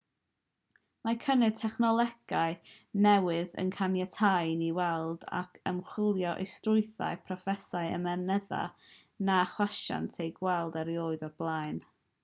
mae cynnydd technolegau newydd yn caniatáu i ni weld ac ymchwilio i strwythurau a phrosesau ymennydd na chawsant eu gweld erioed o'r blaen